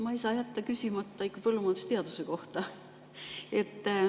Ma ei saa jätta küsimata põllumajandusteaduse kohta.